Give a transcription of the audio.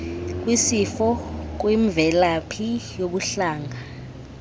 kwisifo kwimvelaphi yobuhlanga